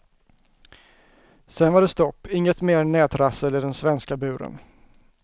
Sen var det stopp, inget mer nätrassel i den svenska buren.